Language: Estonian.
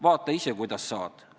Vaata ise, kuidas saad!